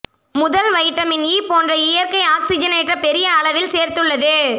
முதல் vitamin E போன்ற இயற்கை ஆக்ஸிஜனேற்ற பெரிய அளவில் சேர்த்து உள்ளது